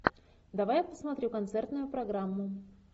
давай я посмотрю концертную программу